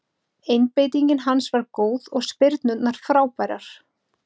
Einbeitingin hans var góð og spyrnurnar frábærar.